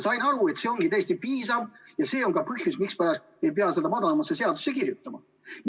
Sain aru, et see ongi täiesti piisav, ja see on ka põhjus, miks ei pea seda madalama astme seadusesse kirjutama.